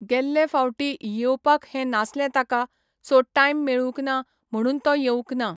गेल्ले फावटीं येवपाक हें नासलें ताका, सो टायम मेळूंक ना म्हणून तो येवूंक ना.